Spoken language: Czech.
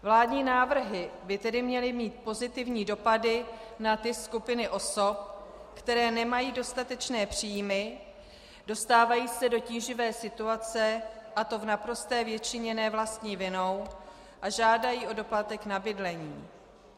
Vládní návrhy by tedy měly mít pozitivní dopady na ty skupiny osob, které nemají dostatečné příjmy, dostávají se do tíživé situace, a to v naprosté většině ne vlastní vinou, a žádají o doplatek na bydlení.